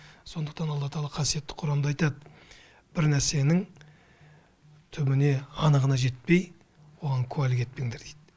сондықтан алла тағала қасиетті құранда айтады бір нәрсенің түбіне анығына жетпей оған куәлік етпеңдер дейді